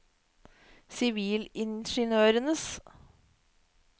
sivilingeniørers